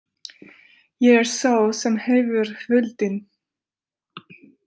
Ég er sá sem hefur völdin.